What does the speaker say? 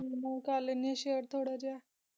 ਘਨਾ ਕਰ ਲੇੰਡਿ ਆਂ ਸਹਾਰੇ ਥੋਰਾ ਜਿਇਆ